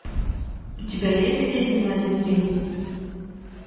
у тебя есть леди на один день